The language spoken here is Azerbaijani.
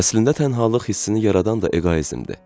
Əslində tənhalıq hissini yaradan da eqoizmdir.